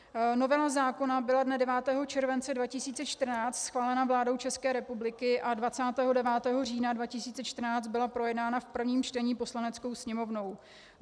Novela zákona byla dne 9. července 2014 schválena vládou České republiky a 29. října 2014 byla projednána v prvním čtení Poslaneckou sněmovnou.